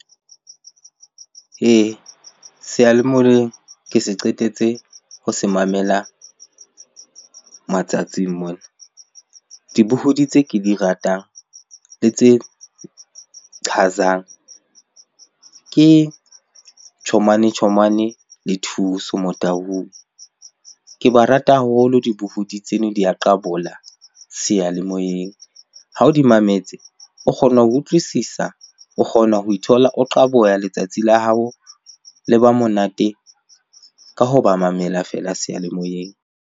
Ee, seyalemoyeng ke se qetetse ho se mamela matsatsing mona. Dibohodi tse ke di ratang le tse qhazang ke Chomane Chomane le Thuso Motaung. Ke ba rata haholo dibohodi tseno di a qabola seyalemoyeng. Ha o di mametse, o kgona ho utlwisisa, o kgona ho ithola o qaboha, letsatsi la hao le ba monate ka ho ba mamela feela seyalemoyeng.